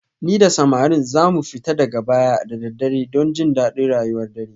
Ni da samarin za mu fita daga baya da daddare don jin daɗin rayuwar dare